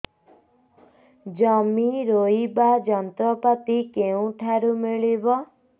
ଜମି ରୋଇବା ଯନ୍ତ୍ରପାତି କେଉଁଠାରୁ ମିଳିବ